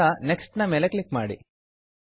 ನಂತರ next next ನ ಮೇಲ್ ಕ್ಲಿಕ್ ಮಾಡಿ